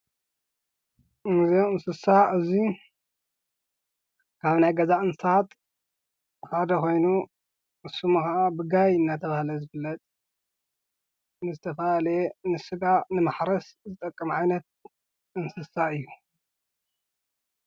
ንዚኣም እንስሳ እዙይ ካብ ናይ ገዛ እንሳት ሓደ ኾይኑ እስሙሃዓ ብጋይ እናተብሃለ ዘብለጥ ንስተፋ ለየ ንሥጋ ንመሕረስ ዝጠቀመዐነት እንስሳ እዩ።